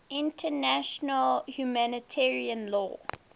international humanitarian law